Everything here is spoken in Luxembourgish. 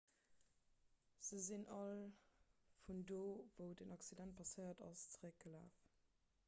se sinn all vun do wou den accident passéiert ass zeréckgelaf